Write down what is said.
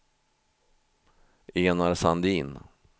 Enar Sandin